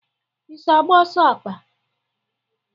I so agba ọsọ akpa?